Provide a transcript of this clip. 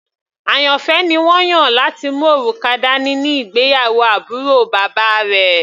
Àyànfẹ́ ni wọ́n yàn láti mú òrùka dání ní ìgbéyàwó àbúrò bàbá rẹ̀.